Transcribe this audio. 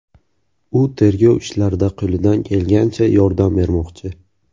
U tergov ishlarida qo‘lidan kelgancha yordam bermoqchi.